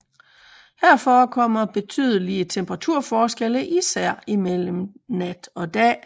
Her forekommer betydelige temperaturforskelle især mellem nat og dag